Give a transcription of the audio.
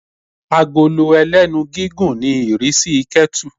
agolo ẹlẹ́nu gigún ní irisí ketú